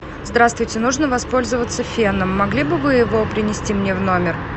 здравствуйте нужно воспользоваться феном могли бы вы его принести мне в номер